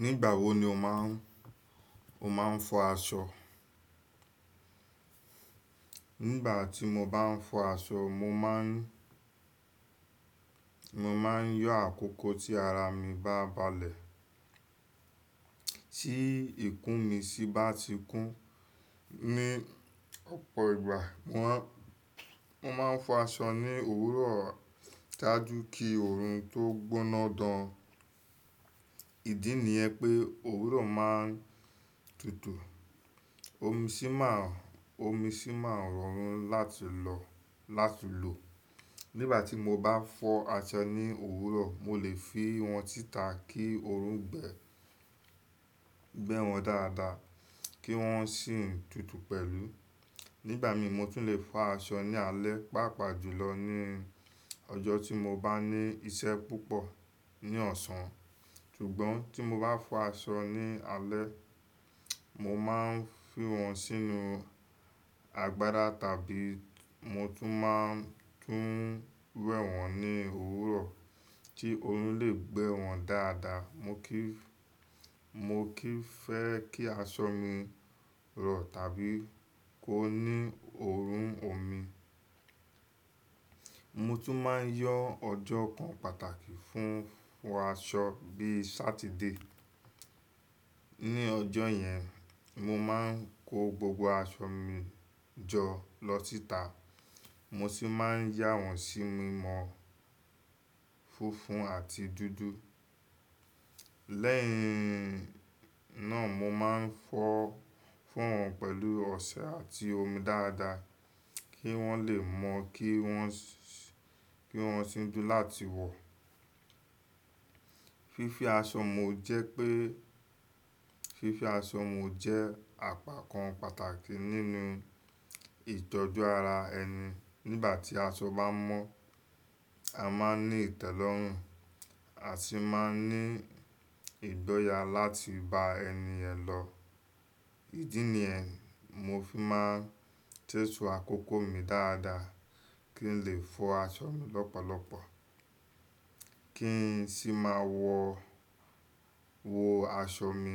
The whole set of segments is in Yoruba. Nígbà wo ni o máa ń, o máa ń fọ aṣọ? Nígbà tí mo bá ń fọ asọ, mo máa ń, mo máa ń yọ àkókò tí ara mi bá balẹ̀. Tí ìkún mi sì bá ti kún ní ọ̀pọ̀ ìgbà, mo máa ń fọ asọ ní òwúrọ̀ jáju kí òòrùn tó gbóná gaan ìdí ni ẹ pé òwúrọ̀ máa ń tutù, omi sì máa ń, omi sì máa ń rọrùn láti lọ lati lo Nígbà tí mo bá fọ asọ ní òwúrọ̀, mo lè fi wọ́n títà kí òòrùn gbẹ, gbẹ́ wọn dáadáa kí wọ́n sì tútù pẹ̀lú. Nígbà mi mo tún lè fa asọ ní alẹ́, pàápàá jùlọ ní ọjọ́ tí mo bá ní iṣẹ́ púpọ̀ ní ọ̀ọsán. Sugbọ́n tí mo bá fọ aṣọ ní alẹ́, mo máa ń fi wọ́n sínú àgbádá tàbí mo tún máa ń tún wẹ̀ wọ́n ní òwúrọ̀ tí òòrùn lè gbẹ́ wọn dáadáa. Mi o kì n, mi o kì n fẹ́ kí aṣọ mi rọ̀ tàbí kó ní òòrùn omi. Mo tún máa ń yan ọjọ́ kan pàtàkì fún fọ aṣọ bí i ojo abamẹta. Ní ọjọ́ yẹn, mo máa ń kó gbogbo aṣọ mi jọ lọ s'ítà. Mo sì máa ń yà wọ́n sí mímọ̀ funfun àti dúdú. Lẹ́yìn náà mo máa ń fọ fo wọn pẹ̀lú ọṣẹ àti omi dáadáa kí wọ́n lè mọ́, kí wọ́n sì, kí wọ́n sì dùn láti wọ̀. Fífí aṣọ mo jẹ́ pé, fífí aṣọ mo jẹ́ àpakan pàtàkì nínú ìtọ́jú ara ẹni. Nígbà tí aṣọ bá mọ́, a máa ń ní ìtẹ́lọ́rùn àti máa ń ní ìgboyà láti bá ẹniyen lọ. Ìdí ni yẹn, mo fi máa ń tẹ́su àkókò mi dáadáa kí n lè fọ aṣọ mi lọ́pọ̀lọpọ̀ kí n sì máa wọ, wọ aṣọ mi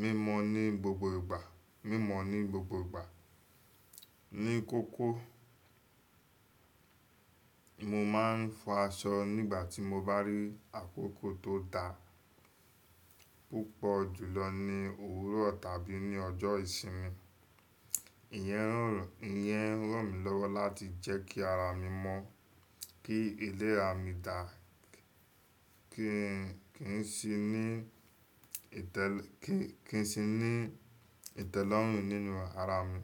mímọ̀ ní gbogbo ìgbà, mímọ̀ ní gbogbo ìgbà. Ní kókó, mo máa ń fọ aṣọ nígbà tí mo bá rí àkókò tó da púpọ̀ jùlọ ní òwúrọ̀ tàbí ní ọjọ́ ìsinmi. Iyẹn, iyẹn ń ràn mí lọ́wọ́ láti jẹ́ kí ara mi mọ́, kí iléra mi dà, kí n sì ní ìtẹ́lẹ̀, kí n sì ní ìtẹ́lọ́rùn nínú ara mi.